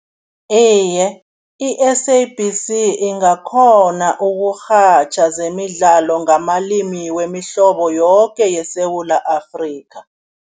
Iye, i-S_A_B_C ingakghona ukurhatjha zemidlalo ngamalimi wemihlobo yoke yeSewula Afrika.